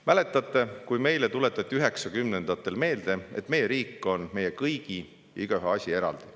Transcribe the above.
Mäletate, kui meile tuletati 1990-ndatel meelde, et meie riik on meie kõigi asi ja igaühe asi eraldi.